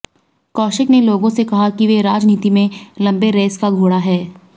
कौशिक ने लोगों से कहा कि वे राजनीति में लंबे रेस का घोड़ा है